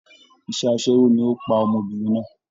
Iṣẹ́ aṣẹ́wó ni ó pa ọmọbìnrin náà